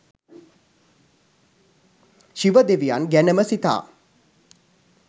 ශිව දෙවියන් ගැනම සිතා